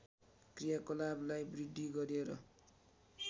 क्रियाकलापलाई वृद्धि गरेर